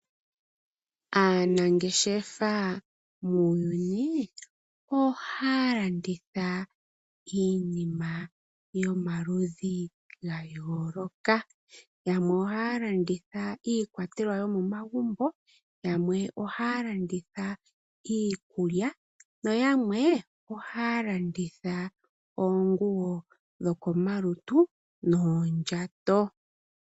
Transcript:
Aanangeshefa muuyuni ohaa landitha iinima yomaludhi gayooloka, yamwe oha landitha iikwatelwa yo momagumbo, yamwe oha landitha iikulya noyamwe oha landitha oonguwo dhokomalutu noondjato.